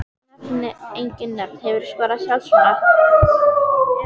Nefni engin nöfn Hefurðu skorað sjálfsmark?